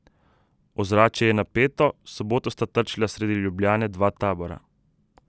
Ozračje je napeto, v soboto sta trčila sredi Ljubljane dva tabora.